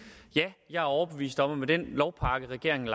ja jeg er overbevist om at med den lovpakke regeringen